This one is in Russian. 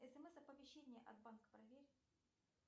смс оповещение от банка проверь